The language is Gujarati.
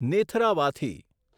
નેથરાવાથી